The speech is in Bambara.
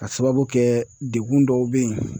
K'a sababu kɛ degun dɔw bɛ yen